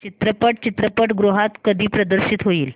चित्रपट चित्रपटगृहात कधी प्रदर्शित होईल